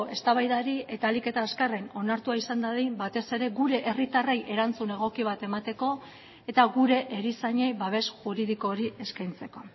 eztabaidari eta ahalik eta azkarren onartua izan dadin batez ere gure herritarrei erantzun egoki bat emateko eta gure erizainei babes juridiko hori eskaintzeko